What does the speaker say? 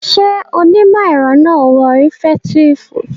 Ṣé onímọ̀ ẹ̀rọ náà wọ rìfẹ̀ẹ́tíìfù?